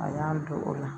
A y'an don o la